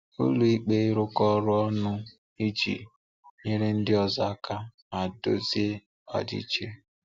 Ụlọ́ikpé—ịrụkọ ọrụ ọnụ iji nyere ndị ọzọ aka ma dozie ọdịiche.